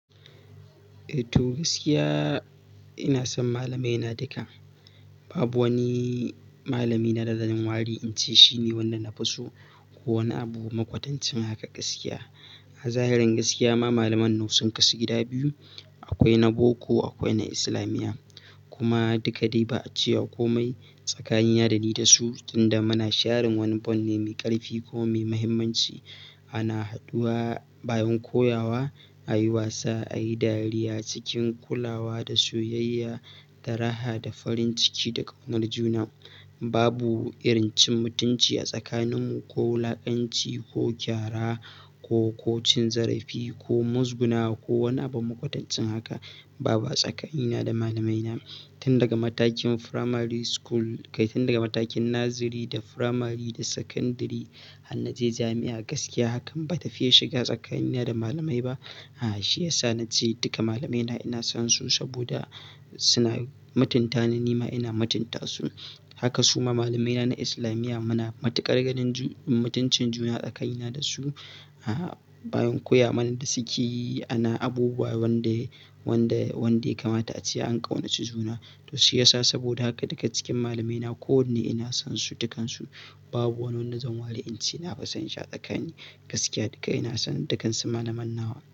Eh to gaskiya ina son malamaina duka. Babu wani malami na da zan ware in ce shi ne wanda na fi so ko wani abu makwatancin haka gaskiya. A zahirin gaskiya ma malaman na sun kasu gida biyu, akwai na boko akwai na islamiyya. Kuma duka dai ba a cewa komai tsakaniyan da ni da su, tunda muna sharin wani bon ne mai ƙarfi ko mai muhimmanci. Ana haduwa bayan koya wa a yi wasa, a yi dariya, cikin kulawa da soyayya, da raha da farin ciki da ƙaunar juna. Babu irin cin mutunci a tsakaninmu ko wulakanci ko gyara ko, ko cin zarafi ko muzguguna ko wani abu makwatancin haka. Baba tsakanina da malamaina. Tun daga matakin primary school, kai tun daga matakin nazari da primary da secondary har na je jami'a gaskiya hakan ba ta fiye shiga tsakanina da malamai ba. A'a shi ya sa na ce duka malamaina ina son su saboda suna mutunta ni, nima ina mutunta su. Haka su ma malamaina na islamiyya muna matuƙar ganin ju-- mutuncin juna tsakanina da su. A'a bayan koya mana da suke yi ana abubuwa wanda, wanda, wanda ya kamata a ce an ƙaunaci juna. To shi ya sa saboda haka daga cikin malamaina kowanne ina son su dukansu. Babu wanda zan ware in ce na fi son shi a tsakanin gaskiya duka ina son dukansu malamannawa.